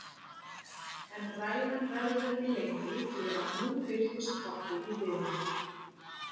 En ræðan verður ekki lengri því að nú birtist pabbi í dyrunum.